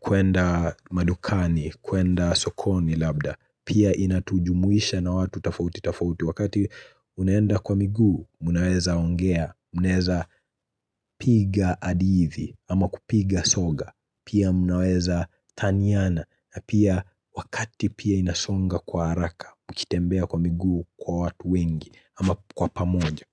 kuenda madukani kuenda sokoni labda pia inatujumuisha na watu tafauti tafauti wakati unaenda kwa miguu mnaweza ongea mnaweza piga adithi ama kupiga soga pia mnaweza taniana na pia wakati pia inasonga kwa haraka mkitembea kwa miguu kwa watu wengi ama kwa pamoja.